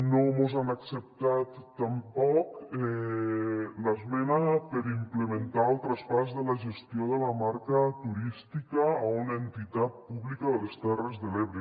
no mos han acceptat tampoc l’esmena per implementar el traspàs de la gestió de la marca turística a una entitat pública de les terres de l’ebre